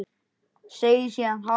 Segir síðan hátt